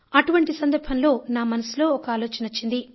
అటువంటి సందర్భంలో నా మనసులో ఒక ఆలోచన వచ్చింది